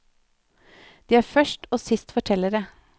De er først og sist fortellere.